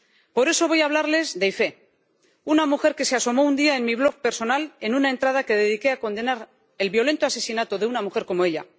Por eso voy a hablarles de Ifé, una mujer que se asomó un día a mi blog personal en una entrada que dediqué a condenar el violento asesinato de una mujer como ella.